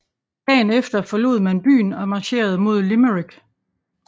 Dagen efter forlod man byen og marcherede mod Limerick